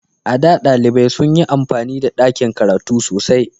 A da, ɗalibai sun yi amfani da dakin karatu sosai.